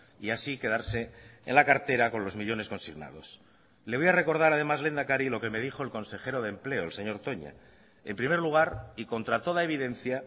y así quedarse en la cartera con los millónes consignados le voy a recordar además lehendakari lo que me dijo el consejero de empleo el señor toña en primer lugar y contra toda evidencia